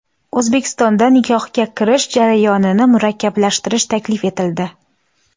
O‘zbekistonda nikohga kirish jarayonini murakkablashtirish taklif etildi.